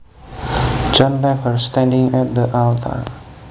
John left her standing at the altar